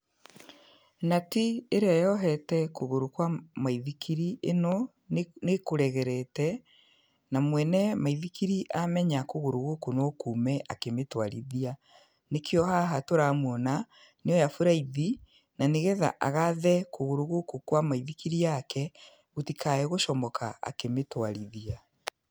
Nati ĩrĩa yohete kũgũrũ kwa maithikiri ĩno nĩ, nĩ kũregerete, na mwene maithikiri amenya kũgũrũ gũkũ no kume akĩmĩtwarithia. Nĩkĩo haha tũramwona nĩ oya buraithi na nĩgetha agathe kũgũrũ gũkũ kwa maithikiri yake, gũtikage gũcomoka akĩmĩtwarithia.